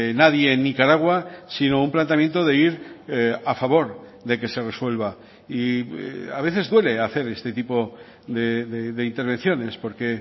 nadie en nicaragua sino un planteamiento de ir a favor de que se resuelva y a veces duele hacer este tipo de intervenciones porque